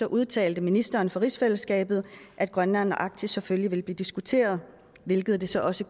udtalte ministeren for rigsfællesskabet at grønland og arktis selvfølgelig ville blive diskuteret hvilket det så også